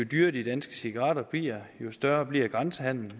dyrere de danske cigaretter bliver jo større bliver grænsehandelen og